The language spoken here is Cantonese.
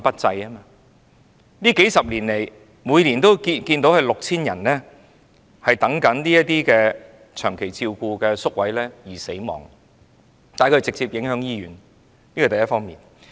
這數十年來，每年有 6,000 人在輪候長期照顧宿位期間死亡，他們直接影響醫院，這是第一方面。